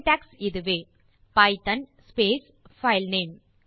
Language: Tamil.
சின்டாக்ஸ் இதுவே பைத்தோன் ஸ்பேஸ் பைல்நேம்